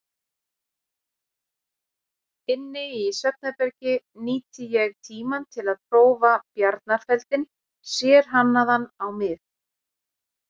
Inni í svefnherbergi nýti ég tímann til að prófa bjarnarfeldinn, sérhannaðan á mig.